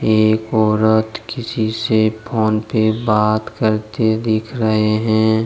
एक औरत किसी से फोन पे बात करते दिख रहे हैं।